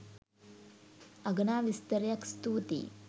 අගනා විස්තරයක්. ස්තූතියි.